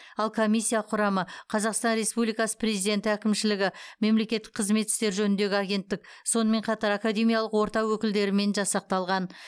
ал комиссия құрамы қазақстан республикасы президенті әкімшілігі мемлекеттік қызмет істері жөніндегі агенттік сонымен қатар академиялық орта өкілдерімен жасақталған